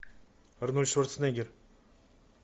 арнольд шварценеггер